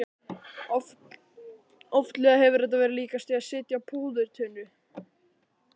Oftlega hefur þetta verið líkast því að sitja á púðurtunnu.